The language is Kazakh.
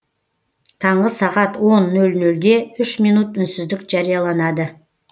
таңғы сағат он нөл нөлде үш минут үнсіздік жарияланады